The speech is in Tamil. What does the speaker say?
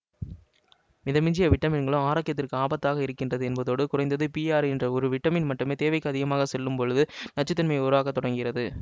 மிதமிஞ்சிய விட்டமின்களும் ஆரோக்கியத்திற்கு ஆபத்தாக இருக்கிறது என்பதோடு குறைந்தது பிஆறு என்ற ஒரு விட்டமின் மட்டுமே தேவைக்கு அதிகமாக செல்லும்போது நச்சுத்தன்மையை உருவாக்க தொடங்குகிறது